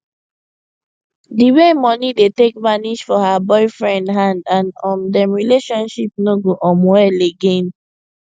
d way moni dey take vanish for her boyfriend hand and um dem relationship no go um well again